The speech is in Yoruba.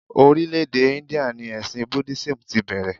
Orílẹ̀ èdè Íńdíà ni ẹ̀sìn Búdísíìmù ti bẹ̀rẹ̀.